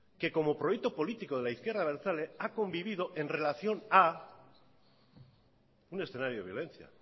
que como proyecto político de la izquierda abertzale ha convivido en relación a un escenario de violencia